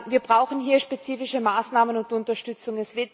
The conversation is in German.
Wir brauchen hier spezifische Maßnahmen und Unterstützung.